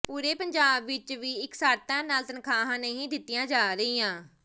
ਪੂਰੇ ਪੰਜਾਬ ਵਿੱਚ ਵੀ ਇਕਸਾਰਤਾ ਨਾਲ ਤਨਖਾਹਾਂ ਨਹੀਂ ਦਿੱਤੀਆਂ ਜਾ ਰਹੀਆਂ